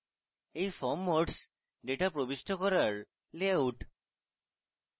এই form modes data প্রবিষ্ট করার layout